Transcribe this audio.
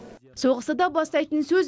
соғысты да бастайтын сөз